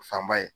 Fanba ye